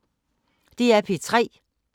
DR P3